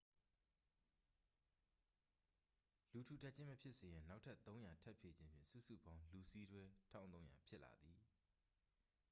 လူထူထပ်ခြင်း မဖြစ်စေရန် နောက်ထပ် 300 ထပ်ဖြည့်ခြင်းဖြင့် စုစုပေါင်း လူစီးတွဲ 1300 ဖြစ်လာသည်